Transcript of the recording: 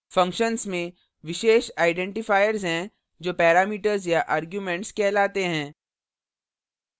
functions में विशेष identifiers हैं जो parameters या arguments कहलाते हैं